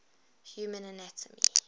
human anatomy